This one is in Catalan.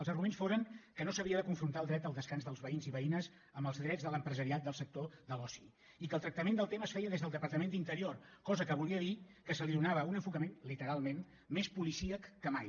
els arguments foren que no s’havia de confrontar el dret al descans dels veïns i veïnes amb els drets de l’empresariat del sector de l’oci i que el tractament del tema es feia des del departament d’interior cosa que volia dir que se li donava un enfocament literalment més policíac que mai